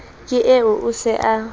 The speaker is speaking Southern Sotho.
ke eo o se a